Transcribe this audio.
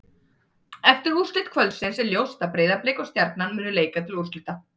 Eftir úrslit kvöldsins er ljóst að Breiðablik og Stjarnan munu leika til úrslita.